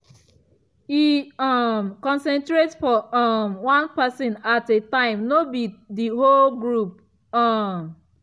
e um concentrate for um one person at a time no be the whole group. um